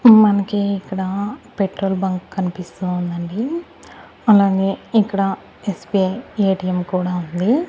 మనకి ఇక్కడ petrol bunk కనిపిస్తూ ఉందండి అలానే ఇక్కడ ఎస్_బి_ఐ ఎ_టి_ఎం కూడా ఉంది.